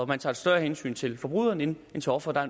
man tager et større hensyn til forbryderen end til offeret